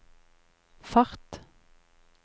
fart